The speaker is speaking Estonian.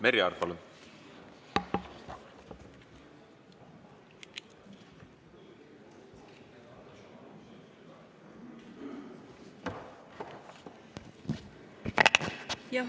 Merry Aart, palun!